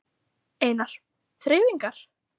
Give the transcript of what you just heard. Einar: Þreifingar?